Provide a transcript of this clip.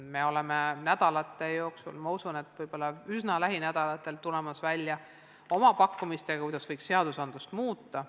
Me tuleme varsti välja – ma usun, et võib-olla üsna lähinädalatel – oma pakkumistega, kuidas võiks seadusi muuta.